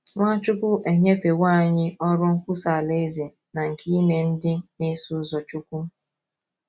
Nwachukwu enyefewo anyị ọrụ nkwusa Alaeze na nke ime ndị na - eso ụzọ Chukwu.